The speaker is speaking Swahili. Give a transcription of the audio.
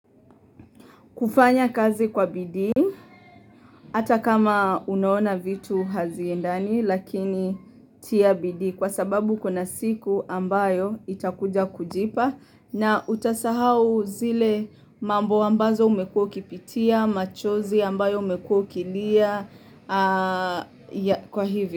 Kufanya kazi kwa bidii, ata kama unaoona vitu haziendani lakini tia bidii kwa sababu kuna siku ambayo itakuja kujipa na utasahau zile mambo ambazo umekuwa ukipitia, machozi ambayo umekuwa ukilia kwa hivi.